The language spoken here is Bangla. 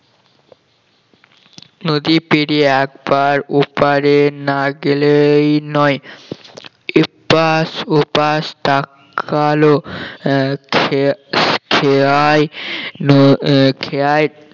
নদী পেরিয়ে একবার ওপারে না গেলেই নয় এপাশ ওপাশটা কালো আহ খে~ খেয়াই ন খেয়াই